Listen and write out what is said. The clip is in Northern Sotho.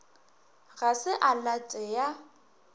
ga se a late ya